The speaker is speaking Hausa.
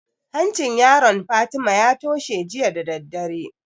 Hancin yaron Fatima ya toshe jiya da daddare